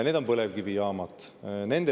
Need on põlevkivijaamad.